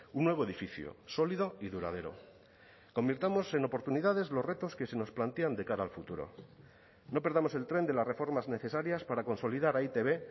un nuevo edificio sólido y duradero convirtamos en oportunidades los retos que se nos plantean de cara al futuro no perdamos el tren de las reformas necesarias para consolidar a e i te be